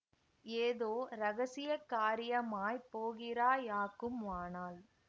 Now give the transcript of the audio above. ஏதோ இரகசிய காரியமாய்ப் போகிறாயாக்கும் ஆனால்